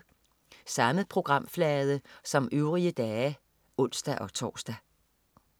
Samme programflade som øvrige dage (ons-tors)